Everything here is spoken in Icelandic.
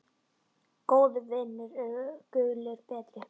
Góðir vinir eru gulli betri.